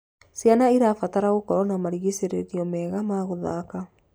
Ciana irabatara gũkorwo na marigicirio mega ma guthaka